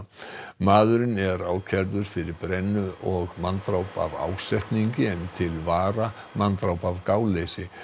maðurinn er ákærður fyrir brennu og manndráp af ásetningi en til vara manndráp af gáleysi